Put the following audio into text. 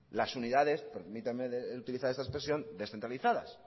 las unidades permítanme utilizar esta expresión descentralizadas